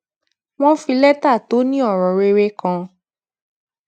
wón fi létà to ni oro rere kan